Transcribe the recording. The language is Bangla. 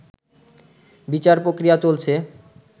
বিচার প্রক্রিয়া চলছে